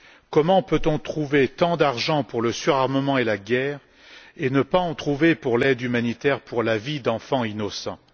Comment peut on trouver tant d'argent pour le surarmement et la guerre, et ne pas en trouver pour l'aide humanitaire, pour la vie d'enfants innocents?